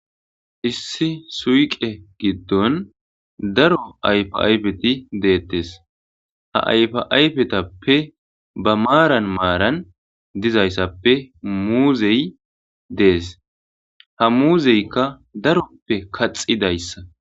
issi suyqe giddon daro ayfa ayfeti deettes ha ayfa ayfetappe ba maaran maaran dizayssappe muuzey dees ha muuzeykka daroppe kaxidayssa